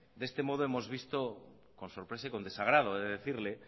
de este modo hemos visto con sorpresa y con desagrado he de decirle